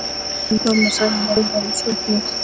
Mamma sagði að þau væru sofnuð.